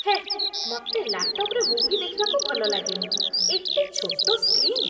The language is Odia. ହେ, ମତେ ଲ୍ୟାପ୍ଟପ୍‌ରେ ମୁଭି ଦେଖିବାକୁ ଭଲଲାଗେନି । ଏତେ ଛୋଟ ସ୍କ୍ରିନ୍!